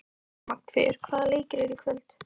Magnfríður, hvaða leikir eru í kvöld?